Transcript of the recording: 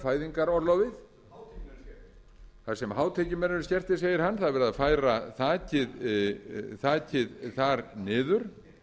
fæðingarorlofið þar sem hátekjumenn eru skertir það er verið að færa þakið þar niður